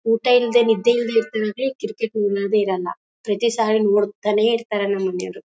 ಊಟ ಇಲ್ದೆ ನಿದ್ರೆ ಇಲ್ದೆ ಇರ್ತಾರಂದ್ರೆ ಏನೂ ಕಿರಿ ಕಿರಿ ನೇ ಇರೋಲ್ಲ. ಪ್ರತಿ ಸರಿ ನೋಡ್ತಾರೆ ನಮ್ಮನೆಯವ್ರು.